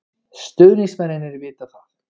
Stuðningsmennirnir vita það.